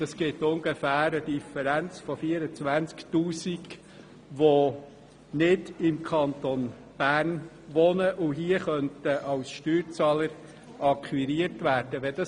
Das ergibt ungefähr eine Differenz von 24 000 Pendlern, die nicht im Kanton Bern wohnen und als Steuerzahler akquiriert werden könnten.